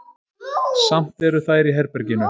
Samt eru þær í herberginu.